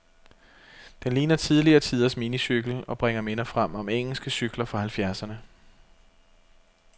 Den ligner tidligere tiders minicykel, og bringer minder frem om engelske cykler fra halvfjerdserne.